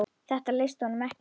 Þetta leist honum ekki á.